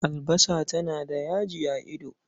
Albasa tana da yaji a ido.